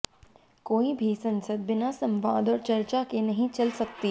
कोई भी संसद बिना संवाद और चर्चा के नहीं चल सकती